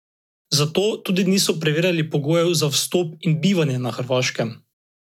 Zato tudi niso preverjala pogojev za vstop in bivanje na Hrvaškem.